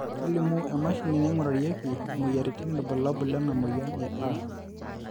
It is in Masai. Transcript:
kelimu emashini naingurarieki imoyiaritin irbulabol lena moyian e A